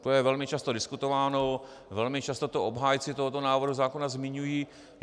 To je velmi často diskutováno, velmi často to obhájci tohoto návrhu zákona zmiňují.